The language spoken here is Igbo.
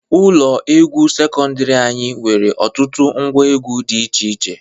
Ụlọ egwu sekọndiri anyị nwere ọtụtụ ngwa egwu dị iche iche.